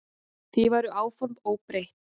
Því væru áform óbreytt.